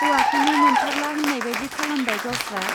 हौवाखौनो मोनथारला होन्नायबादि खालामबाय गावस्रा।